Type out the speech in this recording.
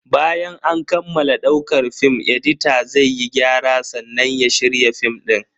Bayan an kammala daukar film, edita zai yi gyara sannan ya shirya film din.